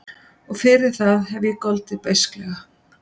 Og fyrir það hef ég goldið beisklega.